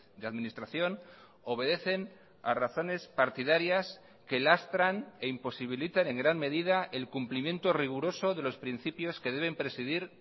de administración obedecen a razones partidarias que lastran e imposibilitan en gran medida el cumplimiento riguroso de los principios que deben presidir